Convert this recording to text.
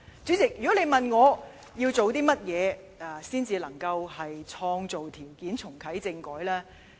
主席，如果問我，我們要做些甚麼，才能創造條件重啟政改呢？